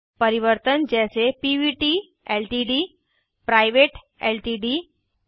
परिवर्तन जैसे PVT LTD private LTD प